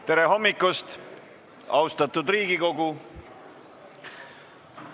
Tere hommikust, austatud Riigikogu!